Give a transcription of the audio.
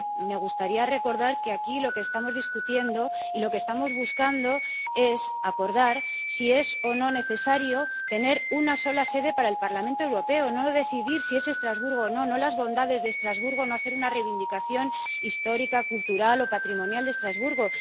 A mí me gustaría recordar que aquí lo que estamos discutiendo y lo que estamos buscando es acordar si es o no necesario tener una sola sede para el Parlamento Europeo, no decidir si es Estrasburgo o no, no las bondades de Estrasburgo, no hacer una reivindicación histórica, cultural o patrimonial de Estrasburgo.